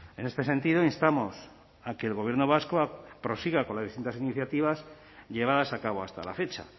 en este sentido instamos a que el gobierno vasco prosiga con las distintas iniciativas llevadas a cabo hasta la fecha